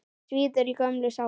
Svíður í gömlum sárum.